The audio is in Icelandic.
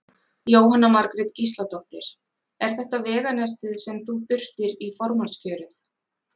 Jóhanna Margrét Gísladóttir: Er þetta veganestið sem þú þurftir í formannskjörið?